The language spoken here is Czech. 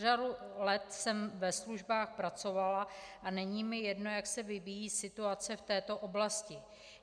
Řadu let jsem ve službách pracovala a není mi jedno, jak se vyvíjí situaci v této oblasti.